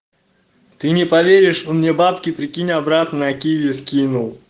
ты не поверишь у меня бабки прикинь обратно на киви скинул